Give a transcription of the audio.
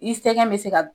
I sɛgɛn bɛ se ka